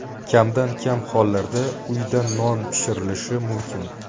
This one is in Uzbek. Kamdan-kam hollarda uyda non pishirilishi mumkin.